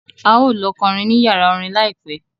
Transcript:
A ó lọ kọrin ní yàrá orin láìpẹ́